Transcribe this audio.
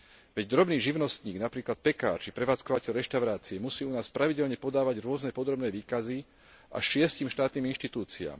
Veď drobný živnostník, napríklad pekár či prevádzkovateľ reštaurácie musí u nás pravidelne podávať rôzne podrobné výkazy až šiestim štátnym inštitúciám.